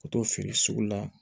Ka t'o feere sugu la